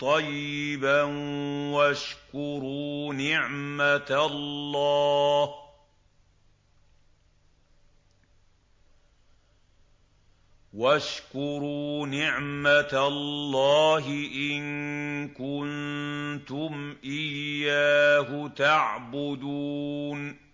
طَيِّبًا وَاشْكُرُوا نِعْمَتَ اللَّهِ إِن كُنتُمْ إِيَّاهُ تَعْبُدُونَ